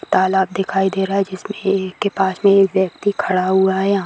तालाब दिखाई दे रहा है जिसमे ए-क के पास में एक व्यक्ति खड़ा हुआ है यहां--